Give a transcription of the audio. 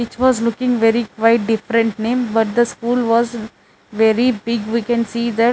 which was looking very quite different name but the school was very big we can see that--